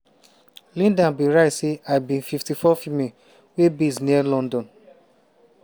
linda bin write say "i be 54 female wey base near london.